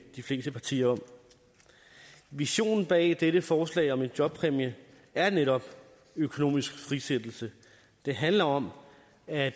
de fleste partier om visionen bag dette forslag om en jobpræmie er netop økonomisk frisættelse det handler om at